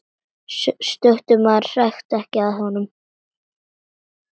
Stöku maður hrækti að honum.